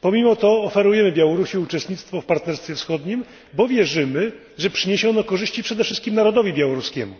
Pomimo to oferujemy Białorusi uczestnictwo w partnerstwie wschodnim, bo wierzymy, że przyniesie ono korzyści przede wszystkim narodowi białoruskiemu.